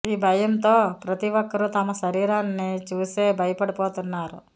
ఈ భయంతో ప్రతి ఒక్కరూ తమ శరీరాన్ని చూసే భయపడిపోతున్నారు